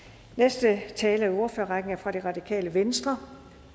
næste taler i ordførerrækken er fra det radikale venstre